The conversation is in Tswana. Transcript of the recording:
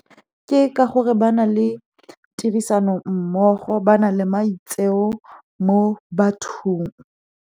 Ke ka gore ba na le tirisano mmogo, ba na le maitseo mo bathong.